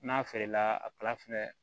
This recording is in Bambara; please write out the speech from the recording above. N'a feerela a kala fɛnɛ